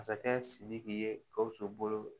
Masakɛ sidiki ye gawusu bolo